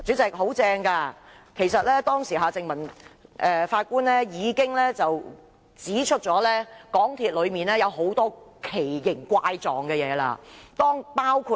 主席，當時法官夏正民已經指出，港鐵公司內有很多稀奇古怪的事情。